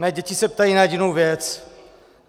Mé děti se ptají na jedinou věc.